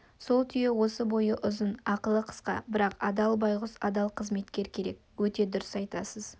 сол түйе осы бойы ұзын ақылы қысқа бірақ адал байғұс адал қызметкер керек өте дұрыс айтасыз